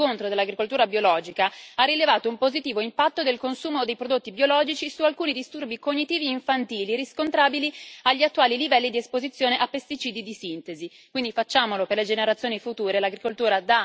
Una recente valutazione da parte dello STOA dei pro e dei contro dell'agricoltura biologica ha rilevato un positivo impatto del consumo dei prodotti biologici su alcuni disturbi cognitivi infantili riscontrabili agli attuali livelli di esposizione a pesticidi di sintesi.